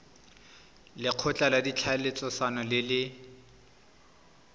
lekgotla la ditlhaeletsano le le